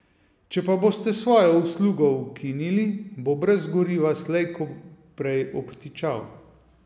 Če pa boste svojo uslugo ukinili, bo brez goriva slej ko prej obtičal.